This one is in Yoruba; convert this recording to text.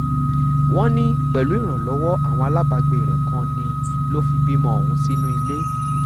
wọ́n ní pẹ̀lú ìrànlọ́wọ́ àwọn aláàbàgbé rẹ̀ kan ni ló fi bímọ ọ̀hún sínú ilé